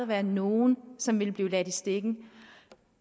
være nogen som ville blive ladt i stikken